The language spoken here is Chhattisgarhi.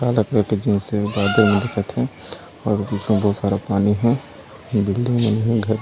काला कलर के जीन्स है बादल भी दिखत हे बहुत सारा पानी है बिल्डिंग बनी हुई है घर--